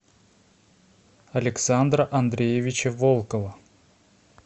александра андреевича волкова